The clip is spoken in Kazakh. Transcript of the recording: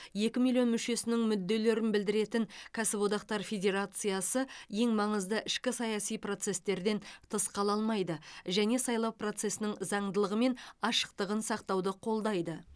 екі миллион мүшесінің мүдделерін білдіретін кәсіподақтар федерациясы ең маңызды ішкі саяси процестерден тыс қала алмайды және сайлау процесінің заңдылығы мен ашықтығын сақтауды қолдайды